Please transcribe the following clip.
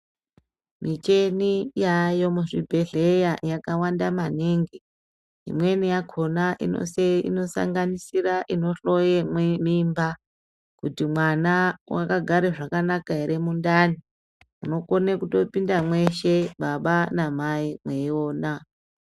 Micheni yayo kuzvibhedhleya yakawanda maningi .Imweni yakhona inosanganisira inohloye mimba kuti mwana wakagare zvakanaka ere mundani. Munokone kutopinda mweshe baba namai mweyiona.